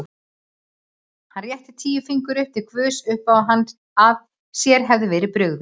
Og hann rétti tíu fingur upp til guðs uppá að sér hefði verið brugðið.